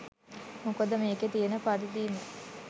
මොකද මේකේ කියන පරිදිම